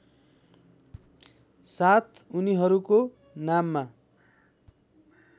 साथ उनीहरूको नाममा